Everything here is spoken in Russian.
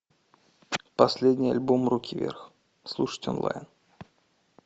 последний альбом руки вверх слушать онлайн